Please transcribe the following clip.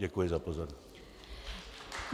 Děkuji za pozornost.